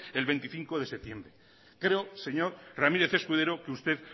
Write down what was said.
el veinticinco de septiembre creo señor ramírez escudero que usted